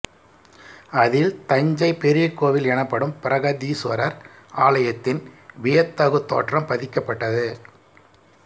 அதில் தஞ்சை பெரிய கோவில் எனப்படும் பிரகதீசுவரர் ஆலயத்தின் வியத்தகு தோற்றம் பதிக்கப்பட்டது